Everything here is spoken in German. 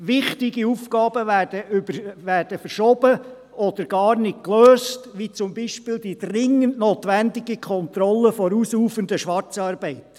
Wichtige Aufgaben werden verschoben oder gar nicht gelöst, wie beispielsweise die dringend notwendige Kontrolle der ausufernden Schwarzarbeit.